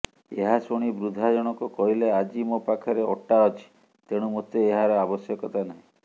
ଏହାଶୁଣି ବୃଦ୍ଧା ଜଣକ କହିଲେ ଆଜି ମୋ ପାଖରେ ଅଟା ଅଛି ତେଣୁ ମୋତେ ଏହାର ଆବଶ୍ୟକତା ନାହିଁ